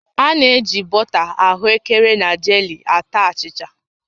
A na-eji bọta ahụekere na jelii ata achịcha